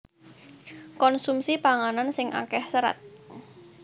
Konsumsi panganan sing akéh serat